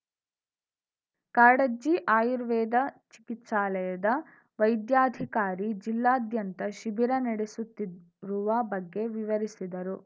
ಕಾಡಜ್ಜಿ ಆಯುರ್ವೇದ ಚಿಕಿತ್ಸಾಲಯದ ವೈದ್ಯಾಧಿಕಾರಿ ಜಿಲ್ಲಾದ್ಯಂತ ಶಿಬಿರ ನಡೆಸುದ್ದಿ ರುವ ಬಗ್ಗೆ ವಿವರಿಸಿದರು